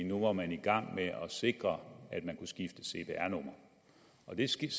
nu var man i gang med at sikre at man kunne skifte cpr nummer det